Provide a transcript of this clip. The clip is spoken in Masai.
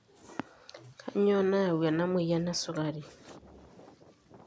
kainyioo nayu ena moyian e sukari?